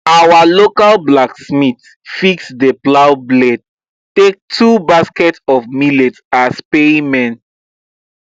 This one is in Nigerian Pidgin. our local blacksmith fix the plow blade take two basket of millet as payment